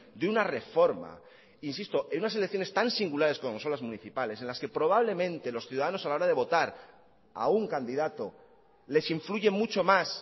de una reforma insisto en unas elecciones tan singulares como son las municipales en las que probablemente los ciudadanos a la hora de votar a un candidato les influye mucho más